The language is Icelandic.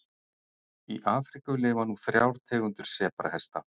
Í Afríku lifa nú þrjár tegundir sebrahesta.